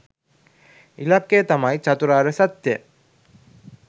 ඉලක්කය තමයි චතුරාර්ය සත්‍යය